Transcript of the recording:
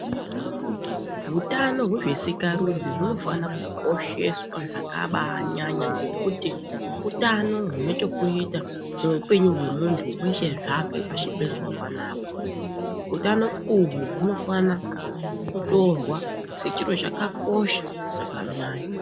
Hutano hwesikarudzi hunofana kukosheswa zvakabanyanya ngekuti, utano hune chekuita neupenyu wemuntu weshe zvake pashi pezuva panapa. Utano uhwu hunofana kutorwa sechinhu chakakosha zvakanyanya.